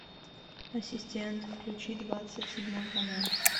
ассистент включи двадцать седьмой канал